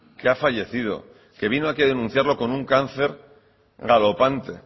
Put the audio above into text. que ha fallecido que vino aquí a denunciarlo con un cáncer galopante